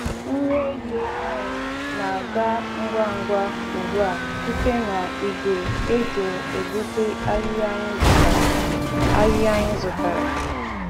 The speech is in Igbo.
Nri ehi anyị na-aga ngwa ngwa ugbu a site na igwe e ji egbutu ahịhịa anyị zụtara. ahịhịa anyị zụtara.